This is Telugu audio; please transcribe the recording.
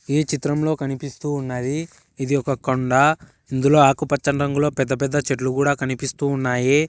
ఈ చిత్రంలో కనిపిస్తూ ఉన్నది ఇది ఒక కొండా ఇందులో ఆకుపచ్చని రంగులో పెద్ద పెద్ద చెట్లు కూడా కనిపిస్తూ ఉన్నాయి.